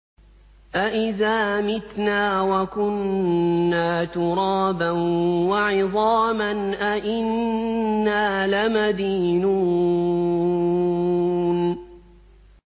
أَإِذَا مِتْنَا وَكُنَّا تُرَابًا وَعِظَامًا أَإِنَّا لَمَدِينُونَ